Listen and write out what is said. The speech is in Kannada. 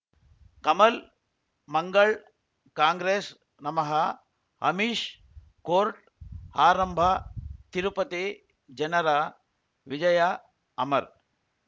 ಕಮಲ್ ಮಂಗಳ್ ಕಾಂಗ್ರೆಸ್ ನಮಃ ಅಮಿಷ್ ಕೋರ್ಟ್ ಆರಂಭ ತಿರುಪತಿ ಜನರ ವಿಜಯ ಅಮರ್